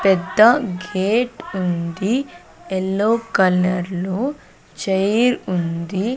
పెద్దా గేట్ ఉంది yellow colour లో చైర్ ఉంది.